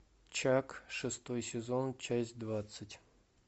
чак шестой сезон часть двадцать